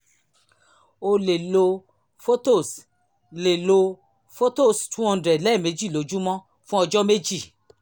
o lè lo phothos lè lo phothos wo hundred lẹ́ẹ̀mejì lójúmọ́ fún ọjọ́ méjì